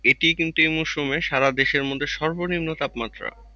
এটি কিন্তু এই মৌসুমে ছাড়া দেশের মধ্যে সর্বনিম্ন তাপমাত্রা।